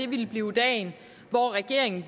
ville blive dagen hvor regeringen